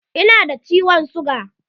Ina da ciwon siga.